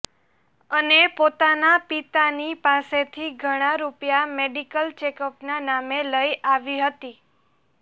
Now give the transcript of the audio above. અને પોતાના પિતાની પાસેથી ઘણા રૂપિયા મેડિકલ ચેકઅપના નામે લઈ આવી હતી